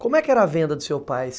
Como é que era a venda do seu pai?